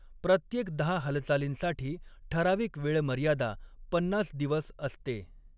प्रत्येक दहा हालचालींसाठी ठराविक वेळ मर्यादा पन्नास दिवस असते.